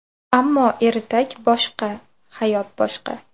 Ammo ertak boshqa, hayot boshqa.